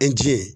E ji ye